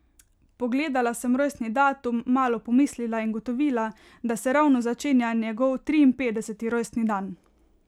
Pogledala sem rojstni datum, malo pomislila in ugotovila, da se ravno začenja njegov triinpetdeseti rojstni dan.